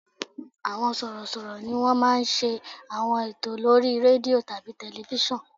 Àwọn sọ̀rọ̀ṣọ̀rọ̀ ni wọ́n máa ń ṣe àwọn ètò lórí rédíò tàbí tẹlifísàn